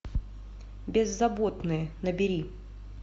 беззаботные набери